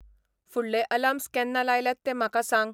फु़डले alarms केन्ना लायल्यात तें म्हाका सांग